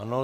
Ano.